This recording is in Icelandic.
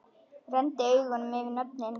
Renndi augunum yfir nöfnin.